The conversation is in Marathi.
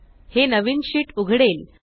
हे नवीन शीट उघडेल